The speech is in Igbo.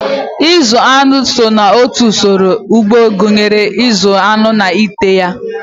Ịzụ aṅụ so n'otu usoro ugbo gụnyere ịzụ aṅụ na ete ha.